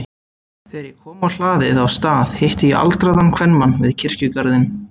Þegar ég kom á hlaðið á Stað hitti ég aldraðan kvenmann við kirkjugarðinn.